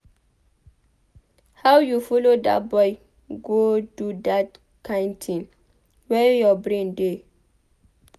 How you follow dat boy go do dat kin thing? Where your brain dey?